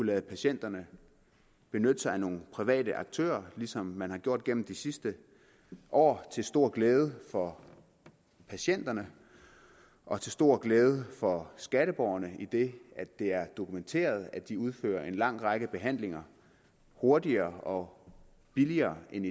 lade patienterne benytte sig af nogle private aktører som man har gjort gennem de sidste år til stor glæde for patienterne og til stor glæde for skatteborgerne idet det er dokumenteret at de udfører en lang række behandlinger hurtigere og billigere end